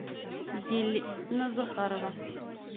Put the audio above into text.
елена захарова